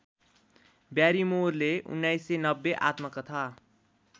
ब्यारिमोरले १९९० आत्मकथा